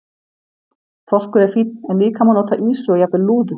Þorskur er fínn en líka má nota ýsu og jafnvel lúðu.